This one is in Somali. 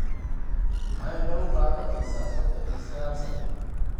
Maxay nagu qaadanaysaa sodhon iyo sagaal sano?